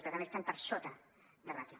per tant estan per sota de ràtio